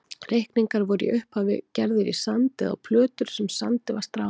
Reikningar voru í upphafi gerðir í sand eða á plötur sem sandi var stráð á.